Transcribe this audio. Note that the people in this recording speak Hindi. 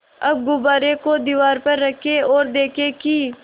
अब गुब्बारे को दीवार पर रखें ओर देखें कि